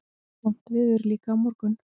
Vont veður líka á morgun